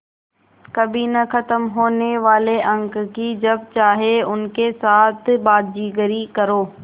कभी न ख़त्म होने वाले अंक कि जब चाहे उनके साथ बाज़ीगरी करो